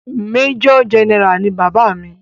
Major general ni bàbá mi.